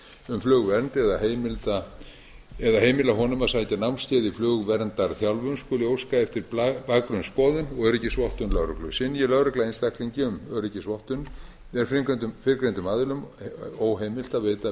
um flugvernd eða heimila honum að sækja námskeið í flugverndarþjálfun skuli óska eftir bakgrunnsskoðun og öryggisvottun lögreglu synji lögregla einstaklingi um öryggisvottun er fyrrgreindum aðilum óheimilt að veita